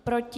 Proti?